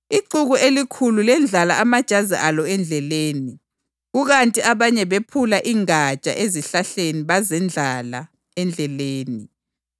Ixuku elikhulu lendlala amajazi alo endleleni, kukanti abanye bephula ingatsha ezihlahleni bazendlala endleleni.